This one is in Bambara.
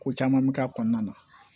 Ko caman mi k'a kɔnɔna na